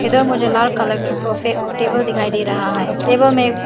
इधर मुझे लाल कलर की सोफे और टेबल दिखाई दे रहा है टेबल मे ए --